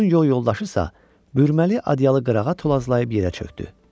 Onun yol yoldaşı isə bürüməli adyalı qırağa tozlazlayıb yerə çökdü.